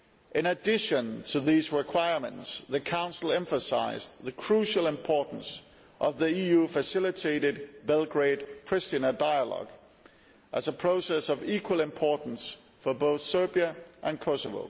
In addition to these requirements, the Council emphasised the crucial importance of the EU facilitated Belgrade Priština dialogue as a process of equal importance for both Serbia and Kosovo.